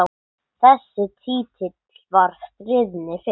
Þessi titill var stríðni fyrst.